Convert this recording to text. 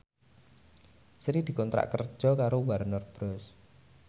Sri dikontrak kerja karo Warner Bros